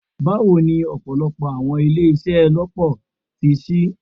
Bawo ni ọpọlọpọ Awọn ile iṣelọpọ ti ṣii